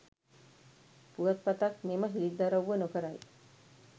පුවත්පතක් මෙම හෙළිදරව්ව නොකරයි